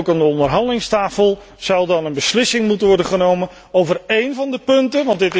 Ook aan de onderhandelingstafel zal dan een beslissing moeten worden genomen over een van de punten.